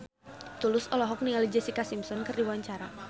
Tulus olohok ningali Jessica Simpson keur diwawancara